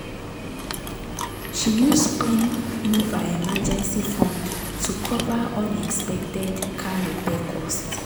she use pain move her emergency fund to cover unexpected car repair costs.